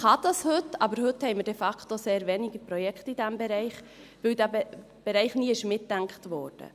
Dies kann man heute tun, aber heute haben wir de facto sehr wenige Projekte in diesem Bereich, weil dieser Bereich nie mitgedacht wurde.